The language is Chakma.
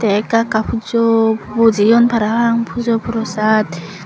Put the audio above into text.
ey ekka ekka pujo bojeyon parapang pujo prosat.